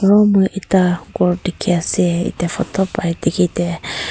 aru moi ekta gour dekhi ase ete photo para dekhi te--